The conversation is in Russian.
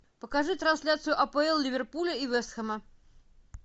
покажи трансляцию апл ливерпуля и вест хэма